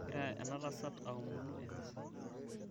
egira enatasat aomonu emiza